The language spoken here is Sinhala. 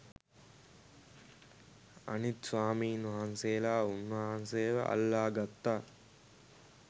අනිත් ස්වාමීන් වහන්සේලා උන්වහන්සේව අල්ලගත්තා.